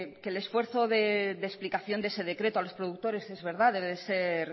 que el esfuerzo de explicación de ese decreto a los productores es verdad debe